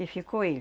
E ficou ele.